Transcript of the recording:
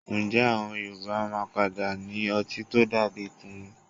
Ǹjẹ́ àwọn Yorùbá yóò padà ní ọtí tó dà bíi kùnú?